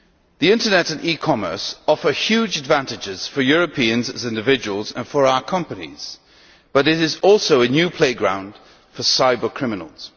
The internet and e commerce offer huge advantages for Europeans as individuals and for our companies, but it is also a new playground for cyber criminals.